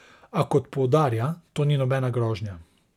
A, kot poudarja, to ni nobena grožnja.